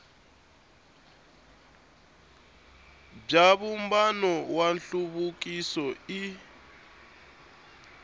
bya vumbano wa nhluvukiso i